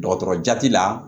Dɔgɔtɔrɔ jati la